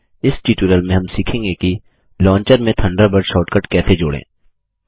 इस ट्यूटोरियल में हम सीखेंगे कि लॉन्चर में थंडरबर्ड शॉर्टकट कैसे जोड़ें